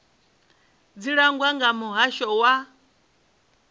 dzi langwa nga muhasho wa